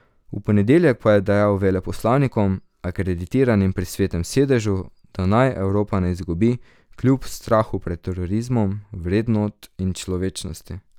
V ponedeljek pa je dejal veleposlanikom, akreditiranim pri Svetem sedežu, da naj Evropa ne izgubi, kljub strahu pred terorizmom, vrednot in človečnosti.